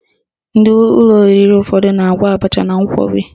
Ndị ụlọ oriri ụfọdụ na-agwọ abacha na nkwọbi